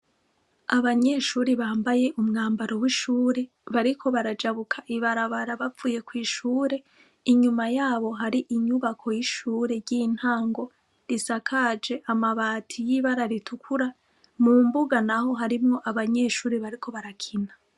Abanyeshuri bambaye umwambaro w'ishure bariko barajabuka ibarabara bapfuye kw'ishure inyuma yabo hari inyubako y'ishure ry'intango risakaje amabati y'ibararitukura mu mbuga na ho harimwo abanyeshuri bariko barakina.